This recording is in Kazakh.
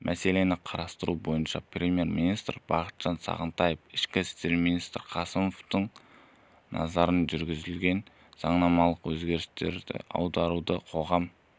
мәселені қарастыру барысында премьер-министрі бақытжан сағынтаев ішкі істер министрі қасымовтың назарын жүргізілген заңнамалық өзгерістерге аударды қоғам